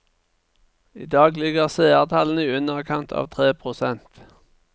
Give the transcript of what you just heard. I dag ligger seertallene i underkant av tre prosent.